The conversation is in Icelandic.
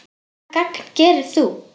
Hvaða gagn gerir þú?